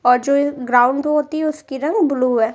और जो ये ग्राउंड पे होती है उसकी रंग ब्लू है।